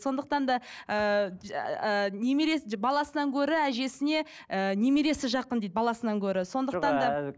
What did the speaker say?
сондықтан да ыыы ы немере баласынан гөрі әжесіне ііі немересі жақын дейді баласынан гөрі сондықтан да